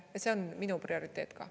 Ja see on minu prioriteet ka.